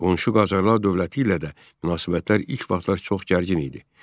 Qonşu Qacarlar dövləti ilə də münasibətlər ilk vaxtlar çox gərgin idi.